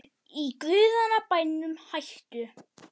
Í guðanna bænum hættu